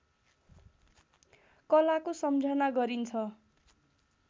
कलाको सम्झना गरिन्छ